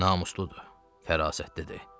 Namusludur, fərasətlidir.